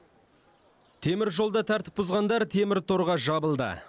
темір жолда тәртіп бұзғандар темір торға жабылды